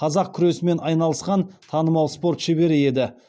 қазақ күресімен айналысқан танымал спорт шебері еді